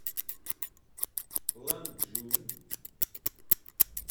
ланчжун